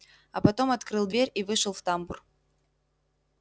а потом открыл дверь и вышел в тамбур